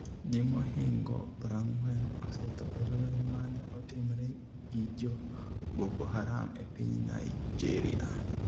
Ji mohingo 40 osetho e lweny mane otimre gi jo Boko Haram e piny Naijeria